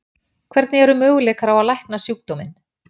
Hvernig eru möguleikar á að lækna sjúkdóminn?